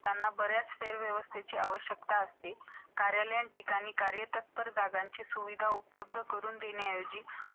ज्यांची मानवाने पूर्ण कल्पनाही केलेली नव्हती. क्ष किरण यंत्र माणसाने यातील चित्र काढते.